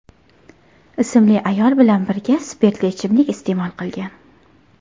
ismli ayol bilan birga spirtli ichimlik iste’mol qilgan.